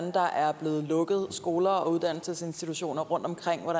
blevet lukket skoler og uddannelsesinstitutioner rundtomkring at